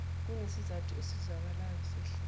kunesizathu esizwakalayo sehlise